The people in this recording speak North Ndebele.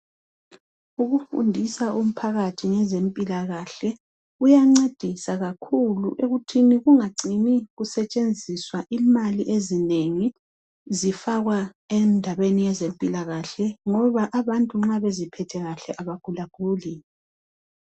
Ukufundisa umphakathi ngezempilakahle kuyancedisa kakhulu ekuthini kungacini kusetshenziswa imali ezinengi zifakwa endabeni yezempilakahle ngoba abantu nxa beziphethe kuhle abagulaguli